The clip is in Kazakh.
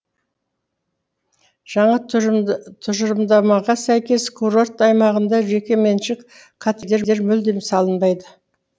жаңа тұжырымдамаға сәйкес курорт аймағында жекеменшік коттедждер мүлдем салынбайды